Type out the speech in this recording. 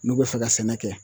N'u bɛ fɛ ka sɛnɛ kɛ